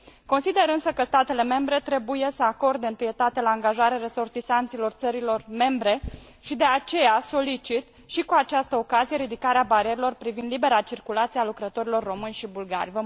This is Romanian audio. Consider însă că statele membre trebuie să acorde întâietate la angajare resortisanților țărilor membre și, de aceea, solicit și cu această ocazie ridicarea barierelor privind libera circulație a lucrătorilor români și bulgari.